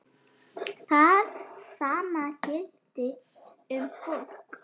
Það sama gilti um fólk.